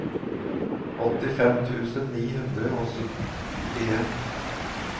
åttifem tusen ni hundre og syttien